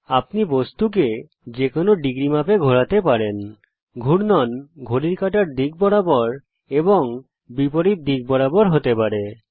আপনি বস্তুকে যেকোনো ডিগ্রী মাপে ঘোরাতে পারেন ঘূর্ণন ঘড়ির কাঁটার দিক বরাবর এবং বিপরীত দিক বরাবর হতে পারে